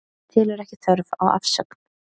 Telur ekki þörf á afsögn